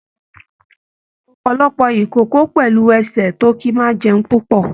Ọpọlọpọ ikòkò pẹlú ẹsẹ tó kí máa n jẹun púpọ.